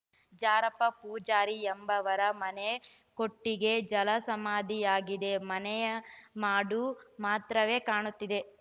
ಜಾರಪ್ಪ ಪೂಜಾರಿ ಎಂಬವರ ಮನೆ ಕೊಟ್ಟಿಗೆ ಜಲಸಮಾಧಿಯಾಗಿದೆ ಮನೆಯ ಮಾಡು ಮಾತ್ರವೇ ಕಾಣುತ್ತಿದೆ